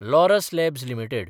Laurus Labs limited